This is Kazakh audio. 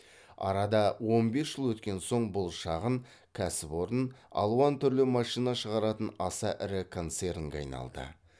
арада он бес жыл өткен соң бұл шағын кәсіпорын алуан түрлі машина шығаратын аса ірі концернге айналды